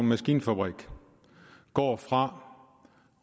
maskinfabrik går fra